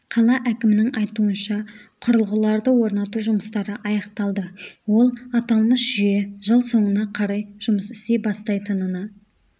қала әкімінің айтуынша құрылғыларды орнату жұмыстары аяқталды ол аталмыш жүйе жыл соңына қарай жұмыс істей бастайтынына